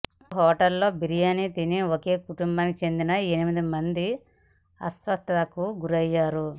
ఓ హోటల్లో బిర్యాని తిని ఒకే కుటుంబానికి చెందిన ఎనిమిది మంది అస్వస్థతకి గురైయ్యరు